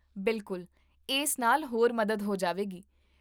ਬਿਲਕੁਲ, ਇਸ ਨਾਲ ਹੋਰ ਮਦਦ ਹੋ ਜਾਵੇਗੀ